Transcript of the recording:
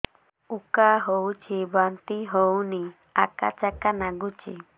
ଉକା ଉଠୁଚି ବାନ୍ତି ହଉନି ଆକାଚାକା ନାଗୁଚି